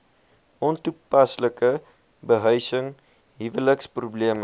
ontoepaslike behuising huweliksprobleme